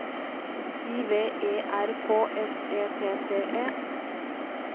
I V E R K S E T T E